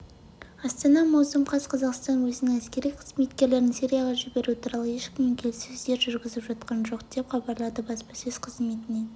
астана маусым қаз қазақстан өзінің әскери қызметкерлерін сирияға жіберу туралы ешкіммен келіссөздер жүргізіп жатқан жоқ деп хабарлады баспасөз қызметінен